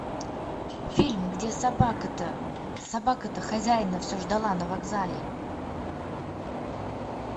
фильм где собака то собака то хозяина все ждала на вокзале